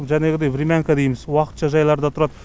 жәнегідей времянка дейміз уақытша жайларда тұрады